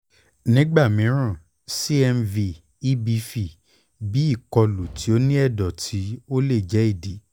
nigba miiran cmv ebv bii ikolu ti o ni ẹdọ ti o le jẹ idi